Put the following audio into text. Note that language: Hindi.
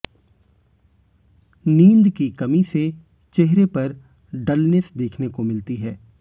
नींद की कमी से चेहरे पर डलनेस देखने को मिलती है